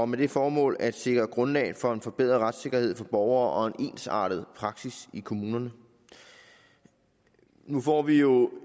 med det formål at sikre grundlag for en forbedret retssikkerhed for borgere og en ensartet praksis i kommunerne nu får vi jo